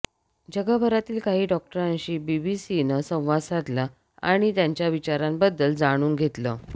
जगभरातील काही डॉक्टरांशी बीबीसीनं संवाद साधला आणि त्यांच्या विचारांबद्दल जाणून घेतलं